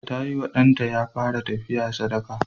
Ta yi wa ɗanta da ya fara tafiya sadaka.